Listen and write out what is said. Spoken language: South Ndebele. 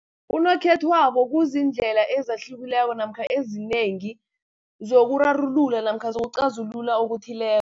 Unokhethwabo kuziindlela ezihlukileko, namkha ezinengi, zokurarulula namkha zokuqazulula okuthileko.